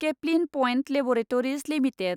Caplin Point Laboratories limited